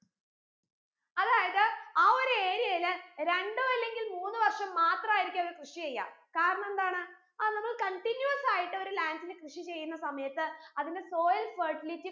അതായത് ആ ഒരു area ൽ രണ്ടോ അല്ലെങ്കിൽ മൂന്ന് വർഷം മാത്രമായിരിക്കും അവർ കൃഷി ചെയ്യാ കാരണെന്താണ് അത് നമ്മൾ continuous ആയിട്ട് ഒരു land ൽ കൃഷി ചെയ്യുന്ന സമയത്ത് അതിന്റെ soil fertility